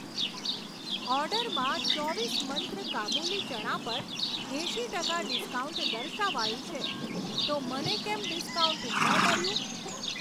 ઓર્ડરમાં ચોવીસ મંત્ર કાબુલી ચણા પર એંશી ટકા ડિસ્કાઉન્ટ દર્શાવાયું છે તો મને કેમ ડિસ્કાઉન્ટ ન મળ્યું?